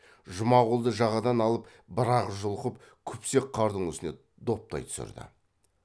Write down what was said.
жұмағұлды жағадан алып бір ақ жұлқып күпсек қардың үстіне доптай түсірді